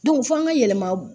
f'an ka yɛlɛma